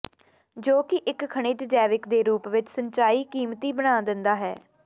ਜੋ ਕਿ ਇੱਕ ਖਣਿਜ ਜੈਵਿਕ ਦੇ ਰੂਪ ਵਿੱਚ ਸਿੰਚਾਈ ਕੀਮਤੀ ਬਣਾ ਦਿੰਦਾ ਹੈ